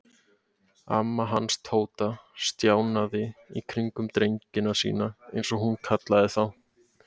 Amma hans Tóta stjanaði í kringum drengina sína eins og hún kallaði þá.